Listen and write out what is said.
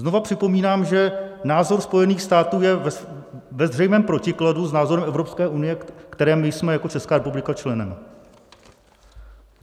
Znova připomínám, že názor Spojených států je ve zřejmém protikladu s názorem Evropské unie, které my jsme jako Česká republika členem.